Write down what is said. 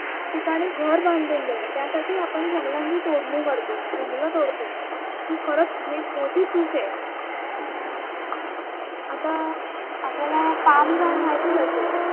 ठिकाणी घर बांधून देणे त्यासाठी आपन जंगलांची तोडणी करतो, जंगलं तोडतो ही खरच खूप मोठी चूक आहे. आता आपल्याला पाम झाड माहितीच असेल